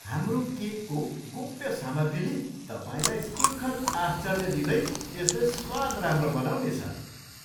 हाम्रो केकको गोप्य सामग्रीले तपाईँलाई सुखद आश्चर्य दिँदै यसले स्वाद राम्रो बनाउनेछ।